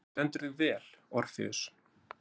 Þú stendur þig vel, Orfeus!